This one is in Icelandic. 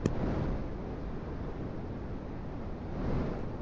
Hvaða leyndarmál ættu það að vera?